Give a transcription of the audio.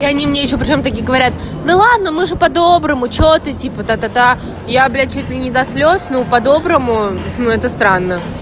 и они мне ещё почему-то говорят да ладно мы же по-доброму что ты типа та-та-та я блять чуть ли до слез ну по-доброму ну это странно